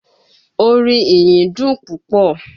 Orin ìyìn dùn púpọ̀